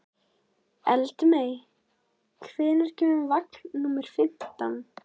Eldmey, hvenær kemur vagn númer fimmtán?